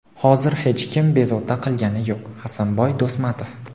Hozir hech kim bezovta qilgani yo‘q – Hasanboy Do‘smatov.